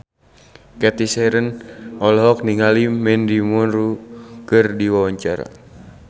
Cathy Sharon olohok ningali Mandy Moore keur diwawancara